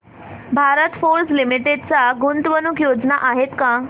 Bharat Forge Limited च्या गुंतवणूक योजना आहेत का